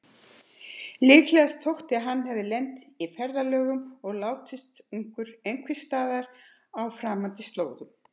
Líklegast þótti að hann hefði lent í ferðalögum og látist ungur einhversstaðar á framandi slóðum.